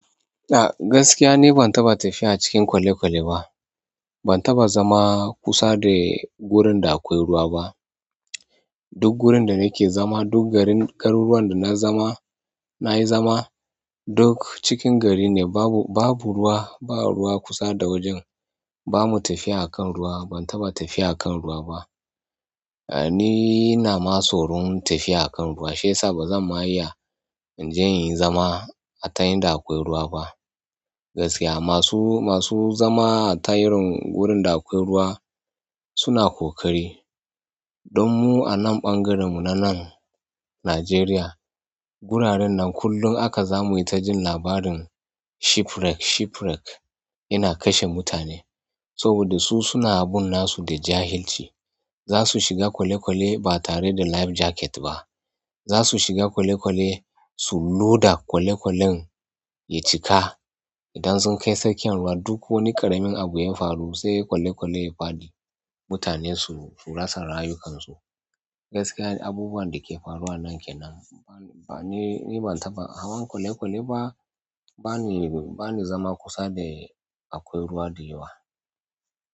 A gaskiya no ban taɓa tafiya a cikin kwale-kwale ba. Ban taɓa zama kusa da wurin da akwai ruwa ba. Duk wurin da nake zama, duk garuruwan da na zama, na yi zama duk cikin gari ne. Babu, babu ruwa, ba ruwa kusa da wajen. Ba mu tafiya a kan ruwa, ban taɓa tafiya a kan ruwa ba. Ni ina ma tsoron tafiya a kan ruwa shiyasa ba zan ma iya in je in yi zama a ta inda akwai ruwa ba. Gaskiya masu, masu zama a ta irin wurin da akwai ruwa suna ƙoƙari. Don mu anan ɓangaren mu na nan Nigeria wuraren nan kullum haka zamu ta jin labarin-- yana kashe mutane. Saboda su suna abun nasu da jahilci. Za su shiga kwale-kwale ba tare da life jacket ba. Zasu shiga kwale-kwale su loda kwale-kwalen ya cika idan sun kai tsakiyan ruwa duk wani ƙaramin abun ya faru sai kwale-kwale ya faɗi, mutane su, su rasa rayukansu. Gaskiya abubuwan da ke faruwa nan ke nan. Ban, ni, ni ban taɓa hawan kwale-kwale ba, bani, bani zama kusa da akwai ruwa da yawa.